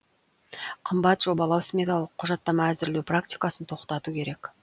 қымбат жобалау сметалық құжаттама әзірлеу практикасын тоқтату керек